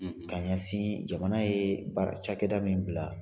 ka ɲɛsin jamana ye baara cakɛda min bila.